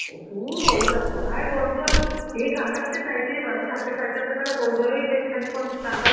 ও দূর, ওই যা, কোথায় গরম জল, সে কার কাছ থেকে চাইতে যাব? আমি চারটে, সাড়ে চারটে নাগাদ ওই জলেই বেশ খানিকক্ষণ চান তান